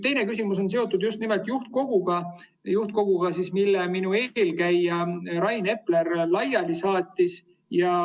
Teine küsimus on seotud just nimelt juhtkoguga, mille minu eelkäija Rain Epler laiali saatis.